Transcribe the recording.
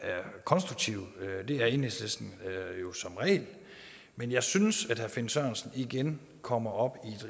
konstruktive det er enhedslisten som regel men jeg synes at herre finn sørensen igen kommer op